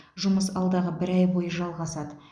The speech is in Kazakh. жұмыс алдағы бір ай бойы жалғасады